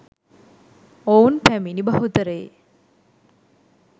ඔවුන් පැමිණි බහුතරයේ